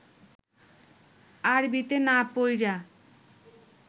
আরবিতে না পইড়া